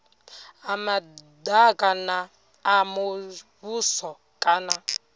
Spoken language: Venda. ha madaka a muvhuso kana